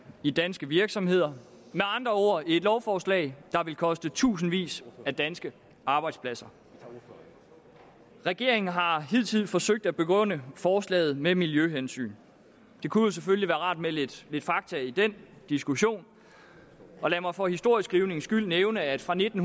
i danske virksomheder med andre ord et lovforslag der vil koste tusindvis af danske arbejdspladser regeringen har hidtil forsøgt at begrunde forslaget med miljøhensyn det kunne selvfølgelig være rart med lidt lidt fakta i den diskussion og lad mig for historieskrivningens skyld nævne at fra nitten